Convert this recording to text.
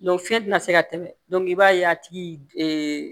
fiɲɛ tɛna se ka tɛmɛ i b'a ye a tigi